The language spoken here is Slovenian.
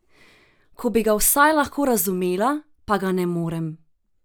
Ko bi ga vsaj lahko razumela, pa ga ne morem!